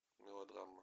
мелодрама